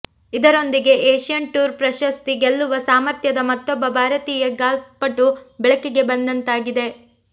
ಇದರೊಂದಿಗೆ Asian tour ಪ್ರಶಸ್ತಿ ಗೆಲ್ಲುವ ಸಾಮರ್ಥ್ಯದ ಮತ್ತೊಬ್ಬ ಭಾರತೀಯ ಗಾಲ್ಫ್ ಪಟು ಬೆಳಕಿಗೆ ಬಂದಂತಾಗಿದೆ